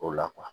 O la